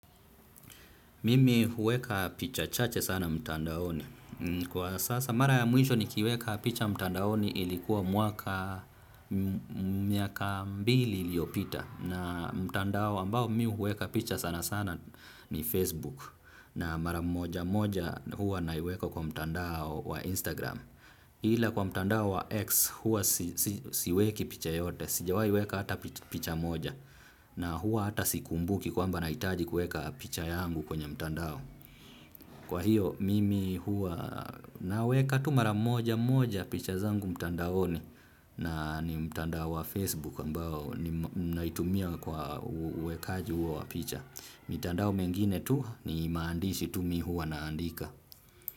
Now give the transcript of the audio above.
Mimi huweka picha chache sana mtandaoni. Kwa sasa mara ya mwisho nikiweka picha mtandaoni ilikuwa mwaka miaka mbili iliopita. Na mtandao ambao mimi huweka picha sana sana ni Facebook. Na mara moja moja huwa naweka kwa mtandao wa Instagram. Ila kwa mtandao wa X hua siweki picha yoyote. Sijawahi weka hata picha moja. Na hua hata sikumbuki kwamba nahitaji kueka picha yangu kwenye mtandao. Kwa hiyo mimi hua naweka tu mara moja moja picha zangu mtandaoni. Na ni mtandao wa Facebook ambao nautumia kwa uwekaji huo wa picha. Mitandao mengine tu ni maandishi tu mi hua naandika.